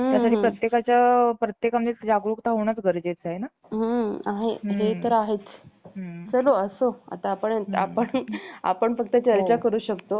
अं जसं की त्यांनी आपलं, अं ऊस, तां~ गहू लावला जातो. फक्त आपल्याला तांदूळच असं एक पिक आहे, जे आपल्याला व्यवस्थित बसून हातानी लावावं लागतं. त्याच्याशिवाय तांदूळाचं पिक येत नाही.